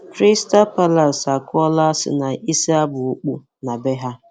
Crystal Palace akụọla Arsenal isi aba okpu na bee ha.